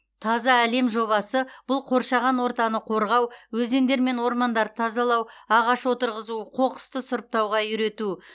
таза әлем жобасы бұл қоршаған ортаны қорғау өзендер мен ормандарды тазалау ағаш отырғызу қоқысты сұрыптауға үйрету